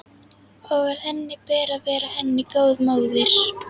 Og að henni ber að vera henni góð móðir.